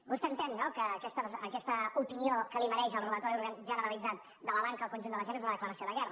vostè entén no que aquesta opinió que li mereix el robatori generalitzat de la banca al conjunt de la gent és una declaració de guerra